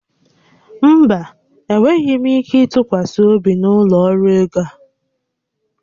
Mba, enweghị ike ịtụkwasị obi n'ụlọ ọrụ ego a